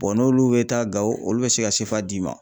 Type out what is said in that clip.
n'olu bɛ taa GAWO olu bɛ se ka d'i ma.